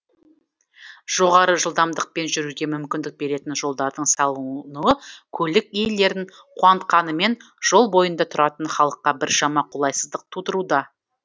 жоғары жылдамдықпен жүруге мүмкіндік беретін жолдардың салынуы көлік иелерін қуантқанымен жол бойында тұратын халыққа біршама қолайсыздық тудыруда